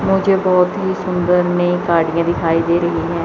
मुझे बहोत ही सुंदर में गाड़ियां दिखाई दे रही है।